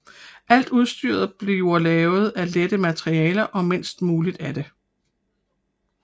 Alt udstyret bliver lavet af lette materialer og mindst muligt af det